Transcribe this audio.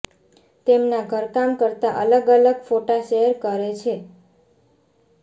તેમના ઘરકામ કરતાં અલગ અલગ ફોટા શેર કરે છે